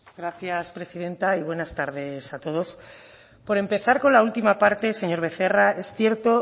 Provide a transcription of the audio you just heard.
gracias presidenta y buenas tardes a todos por empezar con la última parte señor becerra es cierto